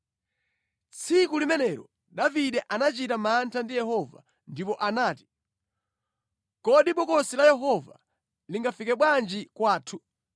Tsiku limenelo Davide anachita mantha ndi Yehova ndipo anati, “Kodi Bokosi la Yehova lingafike bwanji kwathu?”